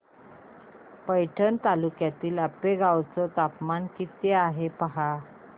पैठण तालुक्यातील आपेगाव चं तापमान किती आहे पहा